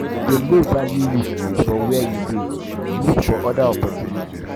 if dem no value you for where you dey look for oda opportunity opportunity